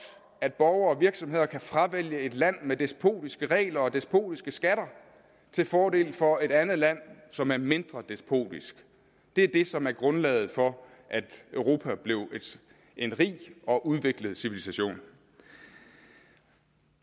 at borgere og virksomheder kan fravælge et land med despotiske regler og despotiske skatter til fordel for et andet land som er mindre despotisk det er det som er grundlaget for at europa blev en rig og udviklet civilisation